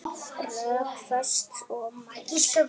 Rökföst og mælsk.